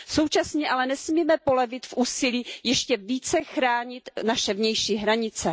Současně ale nesmíme polevit v úsilí ještě více chránit naše vnější hranice.